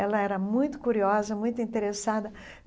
Ela era muito curiosa, muito interessada.